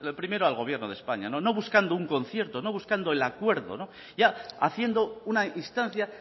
primero al gobierno de españa no buscando un concierto no buscando el acuerdo ya haciendo una instancia